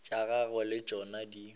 tša gagwe le tšona di